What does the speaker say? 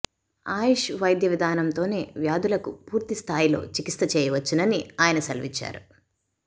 ఆయుష్ వైద్య విధానంతోనే వ్యాధులకు పూర్తిస్థాయిలో చికిత్స చేయవచ్చునని ఆయన సెలవిచ్చారు